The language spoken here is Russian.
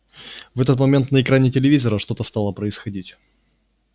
в этот момент на экране телевизора что-то стало происходить